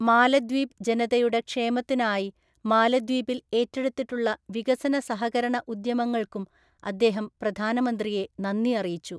മാലദ്വീപ് ജനതയുടെ ക്ഷേമത്തിനായി മാലദ്വീപില്‍ ഏറ്റെടുത്തിട്ടുള്ള വികസന സഹകരണഉദ്യമങ്ങള്‍ക്കും അദ്ദേഹം പ്രധാനമന്ത്രിയെ നന്ദി അറിയിച്ചു.